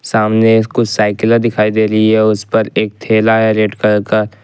सामने साइकिल दिखाई दे रही है उसे पर एक थैला है रेड कलर का--